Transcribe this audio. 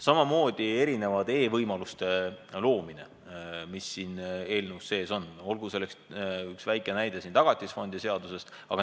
Samamoodi võib öelda erinevate e-võimaluste loomise kohta, mis siin eelnõus sees on, näiteks Tagatisfondi seaduses.